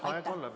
Aitäh!